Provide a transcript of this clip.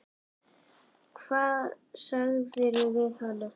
Hvað sagðirðu við hana?